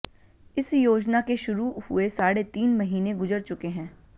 इस योजना के शुरू हुए साढ़े तीन महीने गुजर चुके हैं